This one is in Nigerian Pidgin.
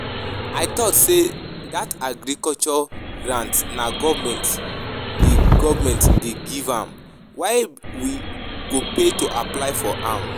I thought say dat Agriculture grant na government dey government dey give am, why we go pay to apply for am?